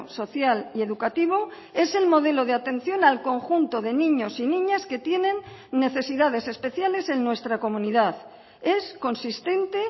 social y educativo es el modelo de atención al conjunto de niños y niñas que tienen necesidades especiales en nuestra comunidad es consistente